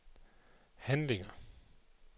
handlinger